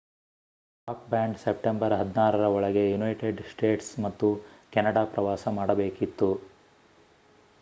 rock band September 16 ರ ಒಳಗೆ United States ಮತ್ತು ಕೆನಡಾ ಪ್ರವಾಸ ಮಾಡಬೇಕಿತ್ತು